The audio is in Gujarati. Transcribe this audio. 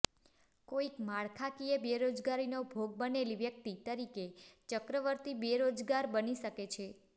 કોઈક માળખાકીય બેરોજગારીનો ભોગ બનેલી વ્યક્તિ તરીકે ચક્રવર્તી બેરોજગાર બની શકે છે